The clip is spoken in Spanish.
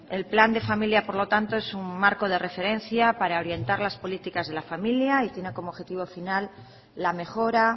el plan de familia por lo tanto es un marco de referencia para orientar las políticas de la familia y tiene como objetivo final la mejora